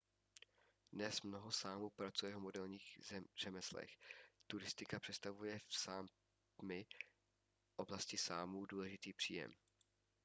dnes mnoho sámů pracuje v moderních řemeslech turistika představuje v sápmi oblasti sámů důležitý příjem